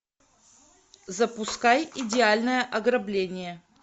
запускай идеальное ограбление